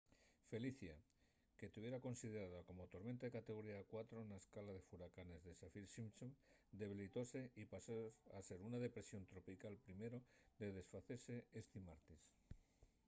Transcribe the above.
felicia que tuviera considerada como tormenta de categoría 4 na escala de furacanes de saffir-simpson debilitóse y pasó a ser una depresión tropical primero de desfacese esti martes